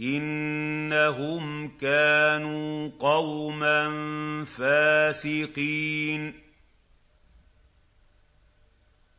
إِنَّهُمْ كَانُوا قَوْمًا فَاسِقِينَ